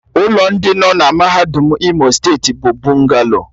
Ụlọ ndị nọ na mahadum Imo steeti bụ bụngalo